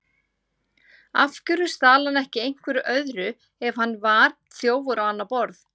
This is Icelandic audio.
Af hverju stal hann ekki einhverju öðru ef hann var þjófur á annað borð?